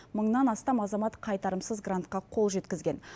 мыңнан астам азамат қайтарымсыз грантқа қол жеткізген